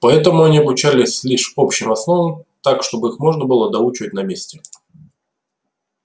поэтому они обучались лишь общим основам так чтобы их можно было доучивать на месте